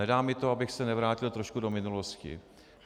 Nedá mi to, abych se nevrátil trošku do minulosti.